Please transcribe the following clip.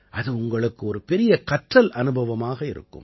அது உங்களுக்கு ஒரு பெரிய கற்றல் அனுபவமாக இருக்கும்